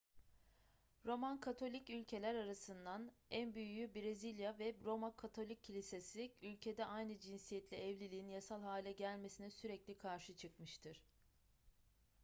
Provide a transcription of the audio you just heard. roman katolik ülkeler arasından en büyüğü brezilya ve roma katolik kilisesi ülkede aynı cinsiyetle evliliğin yasal hale gelmesine sürekli karşı çıkmıştır